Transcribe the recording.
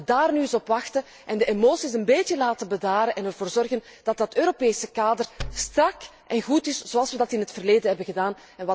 Laten we daar nu eens op wachten en de emoties een beetje tot laten rust laten komen en ervoor zorgen dat dat Europese kader strak en goed is, zoals we dat in het verleden hebben gedaan.